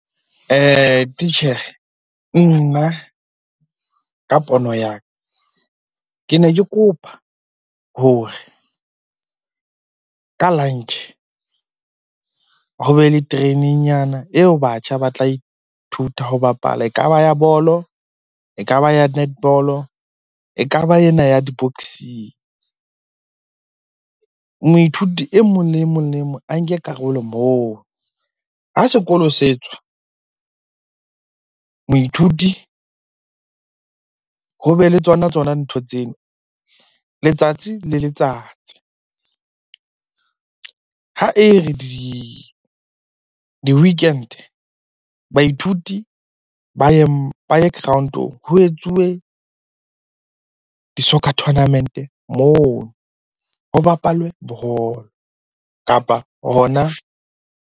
Titjhere, nna ka pono ya ka. Ke ne ke kopa hore ka lunch ho be le training nyana eo batjha ba tla ithuta ho bapala. E ka ba ya bolo, e ka ba ya netball-o, e ka ba ena ya di-boxing. Moithuti e mong le emong, le emong a nke karolo moo. Ha sekolo se tswa, moithuti ho be le tsona-tsona ntho tseno letsatsi le letsatsi. Ha e re di-weekend baithuti ba ye ground-ong ho etsuwe di-soccer tournament-e mono. Ho bapalwe ball-o, kapa hona.